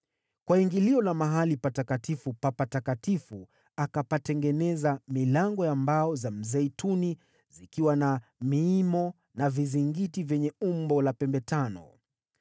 Kwa ingilio la Patakatifu pa Patakatifu akatengeneza milango ya mbao za mzeituni, zikiwa na miimo na vizingiti vyenye umbo la pembe tano.